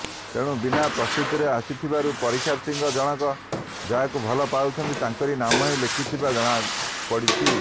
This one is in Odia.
ତେଣୁ ବିନା ପ୍ରସ୍ତୁତିରେ ଆସିଥିବାରୁ ପରୀକ୍ଷାର୍ଥୀ ଜଣକ ଯାହାକୁ ଭଲ ପାଉଛନ୍ତି ତାଙ୍କରି ନାମ ହିଁ ଲେଖିଥିବା ଜଣାପଡ଼ିଛି